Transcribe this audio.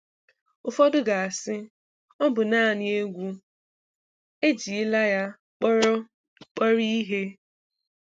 Ụfọdụ ga-asị, "Ọ bụ naanị egwu. Ejila ya kpọrọ kpọrọ ihe!"